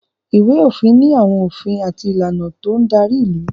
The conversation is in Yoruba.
Ìwé-òfin ni àwọn òfin àti ìlànà tó ń darí ìlú.